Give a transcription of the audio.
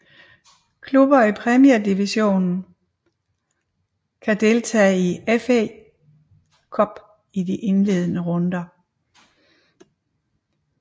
Klubber i Premier Division kan deltage i FA Cup i de indledende runde